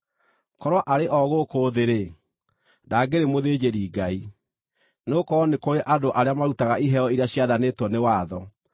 Korwo arĩ o gũkũ thĩ-rĩ, ndangĩrĩ mũthĩnjĩri-Ngai, nĩgũkorwo nĩ kũrĩ andũ arĩa marutaga iheo iria ciathanĩtwo nĩ watho.